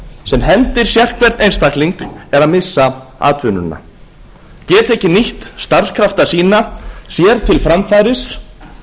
sem hendir sérhvern einstakling er að missa atvinnuna geta ekki nýtt starfskrafta sína sér til framfæris